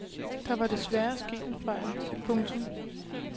Der var desværre sket en fejl. punktum